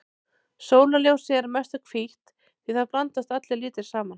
Sólarljósið er að mestu hvítt því þar blandast allir litir saman.